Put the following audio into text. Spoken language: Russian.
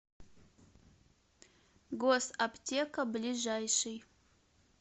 госаптека ближайший